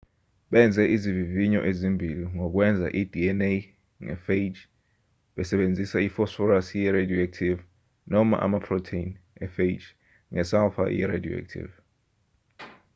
benze izivivinyo ezimbili ngokwenza i-dna nge-phage besebenzisa iphosphorus ye-radioactive noma amaprotheni e-phage nge-sulfur ye-radioactive